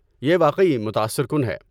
یہ واقعی متاثر کن ہے۔